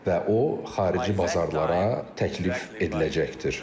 Və o xarici bazarlara təklif ediləcəkdir.